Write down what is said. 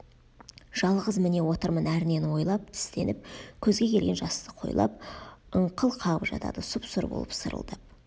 жалғыз міне отырмын әрнені ойлап тістеніп көзге келген жасты қойлап ыңқыл қағып жатады сұп-сұр болып сырылдап